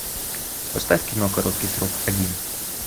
поставь кино короткий срок один